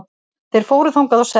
Þeir fóru þangað og settust.